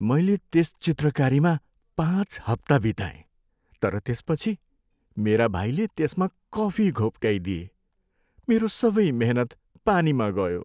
मैले त्यस चित्रकारीमा पाँच हप्ता बिताएँ तर त्यसपछि मेरा भाइले त्यसमा कफी घोप्ट्याइदिए। मेरो सबै मेहनत पानीमा गयो।